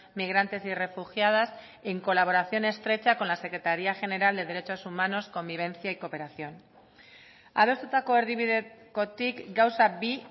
migrantes y refugiadas en colaboración estrecha con la secretaría general de derechos humanos convivencia y cooperación adostutako erdibidekotik gauza bi